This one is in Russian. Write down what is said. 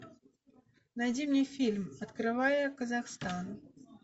найди мне фильм открывая казахстан